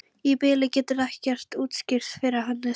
Í bili geturðu ekkert útskýrt fyrir henni, segi ég.